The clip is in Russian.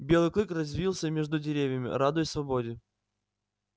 белый клык развился между деревьями радуясь свободе